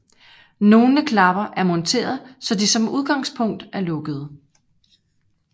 Nogle klapper er monteret så de som udgangspunkt er lukkede